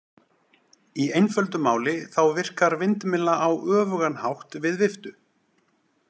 Í einföldu máli þá virkar vindmylla á öfugan hátt við viftu.